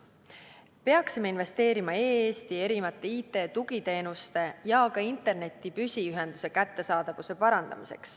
Peaksime investeerima e-Eesti erinevate IT-tugiteenuste ja ka interneti püsiühenduse kättesaadavuse parandamisse.